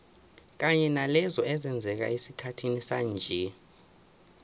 kanye nalezo ezenzeka esikhathini sanje